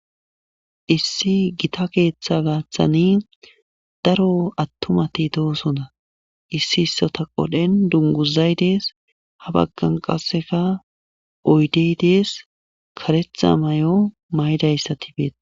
issi gita keeththa gaaththani daro attumati doosona issi issota qodhen dunguzay dees ha baggan qasseka oydey dees karetha mayo maydayssati beeta